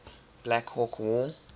black hawk war